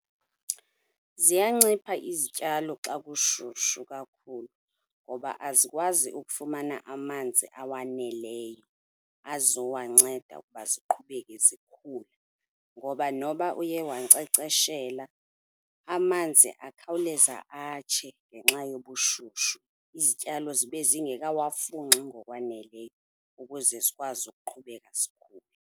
Ziyancipha izityalo xa kushushu kakhulu ngoba azikwazi ukufumana amanzi awaneleyo azowanceda ukuba ziqhubeke zikhula ngoba noba uye wankcenkceshela, amanzi akhawuleza atshe ngenxa yobushushu, izityalo zibe zingekawafunxi ngokwaneleyo ukuze zikwazi ukuqhubeka zikhule.